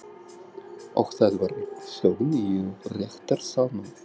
Og það var þögn í réttarsalnum.